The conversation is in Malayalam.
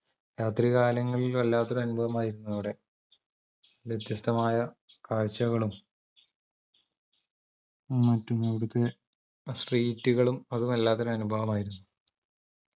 രാത്രി കാലങ്ങളിൽ വല്ലാത്തൊരു അനുഭവമായിരുന്നു അവിടെ വ്യത്യസ്തമായ കാഴ്ചകളും മറ്റും അവിടത്തെ street കളും അത് വല്ലാത്തൊരു അനുഭവമായിരുന്നു